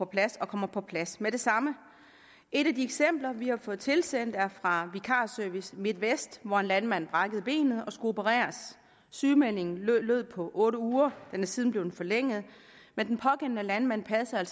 plads og kommer på plads med det samme et af de eksempler vi har fået tilsendt er fra vikarservice midt vest hvor en landmand brækkede benet og skulle opereres sygemeldingen lød på otte uger den er siden blevet forlænget den pågældende landmand passede